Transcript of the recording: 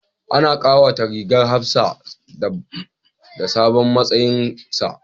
Ana kawata rigar hafsa da sabon matsayinsa